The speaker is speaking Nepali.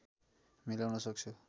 मिलाउन सक्छु